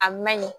A ma ɲi